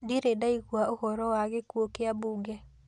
Ndirĩ ndaigua ũhoro wa gĩkuũ kĩa mbunge